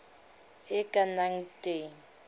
e e ka nnang teng